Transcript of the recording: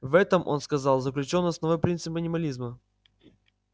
в этом он сказал заключён основной принцип анимализма